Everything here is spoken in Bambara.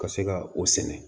Ka se ka o sɛnɛ